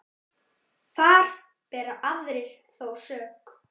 Þar bera aðrir þó sök.